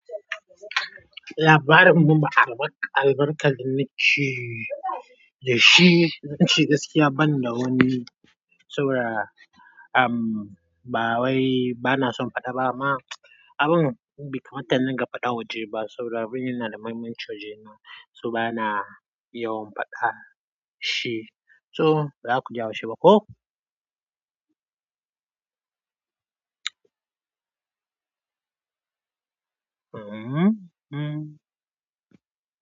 Labarin mumbar albarka, albarkar da na ci da shi, na ci gaskiya banda wani saboda, am, ba wai bana son faɗa ba ma abun bai kamata idinga faɗa waje ba. Saboda abin yana da mahimmanci waje na, so bana yawan faɗa shi. So, baza ku haushi baƙo? Hmm, hmm.